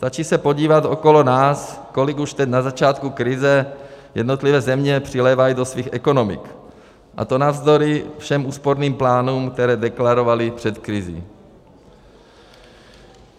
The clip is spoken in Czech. Stačí se podívat okolo nás, kolik už teď na začátku krize jednotlivé země přilévají do svých ekonomik, a to navzdory všem úsporným plánům, které deklarovaly před krizí.